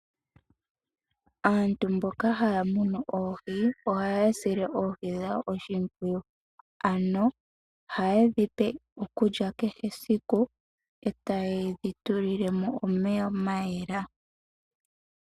Aantu mboka haya munu oohi ohaya sile oohi dhawo oshimpwiyu, ohaye dhi pe okulya kehe esiku e taye dhi tulile mo omeya ga yela.